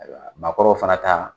Ayiwa maakɔrɔw fana taa.